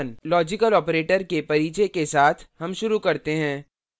logical operators के परिचय के साथ हम शुरू करते हैं